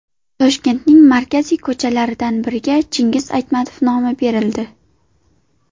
Toshkentning markaziy ko‘chalaridan biriga Chingiz Aytmatov nomi berildi.